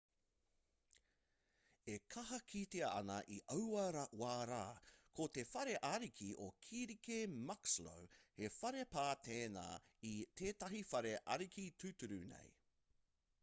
e kaha kitea ana i aua wā rā ko te whare ariki o kirike muxloe he whare pā tēnā i tētahi whare ariki tūturu nei